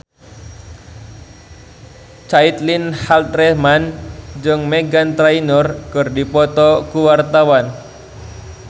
Caitlin Halderman jeung Meghan Trainor keur dipoto ku wartawan